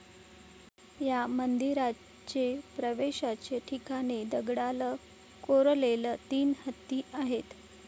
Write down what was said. या मंदिराचे प्रवेशाचे ठिकाणी दगडाल कोरलेले तीन हत्ती आहेत.